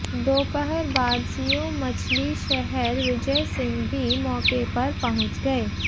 दोपहर बाद सीओ मछलीशहर विजय सिंह भी मौके पर पहुंच गए